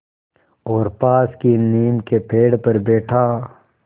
और पास की नीम के पेड़ पर बैठा